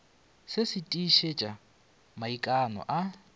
se se tiišetša maikano a